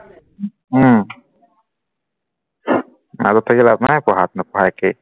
উম মাজত থাকি লাভ নাই পঢ়াত নপঢ়া একেই